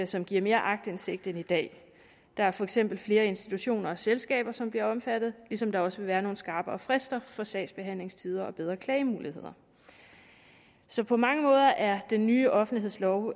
som giver mere aktindsigt end i dag der er for eksempel flere institutioner og selskaber som bliver omfattet ligesom der også vil være nogle skarpere frister for sagsbehandlingstider og bedre klagemuligheder så på mange måder er den nye offentlighedslov